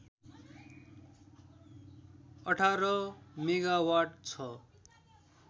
१८ megawatt छ